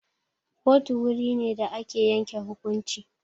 Kotu wuri ne da ake yanke hukunci.